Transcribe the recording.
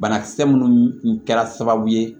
Banakisɛ minnu kɛra sababu ye